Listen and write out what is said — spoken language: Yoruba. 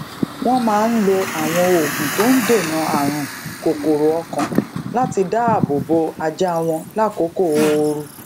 wón máa ń lo àwọn oògùn tó ń dènà àrùn kokoro okan láti dáàbò bo ajá wọn lakoko ooru